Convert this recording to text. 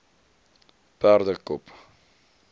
perdekop